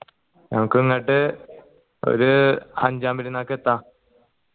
ഞമ്മക്ക് ഇങ്ങട്ട് ഒരു അഞ്ചാം പെരുന്നാക്കെത്ത